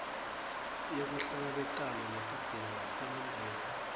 yekuhlangabetana netidzingo temindeni